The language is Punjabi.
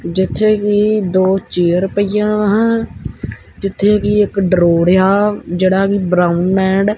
ਜਿੱਥੇ ਕੀ ਦੋ ਚੇਅਰ ਪਈਆਂ ਵਾ ਜਿੱਥੇ ਕੀ ਇੱਕ ਡਰੋੜ ਆ ਜਿਹੜਾ ਵੀ ਬਰਾਊਨ ਐਂਡ --